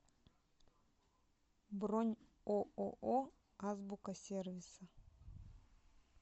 бронь ооо азбука сервиса